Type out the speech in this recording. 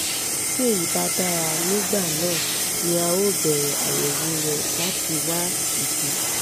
tí èyí bá dára nígbà náà ni a ó bẹ̀rẹ̀ àyẹ̀wò rẹ láti wá ìdí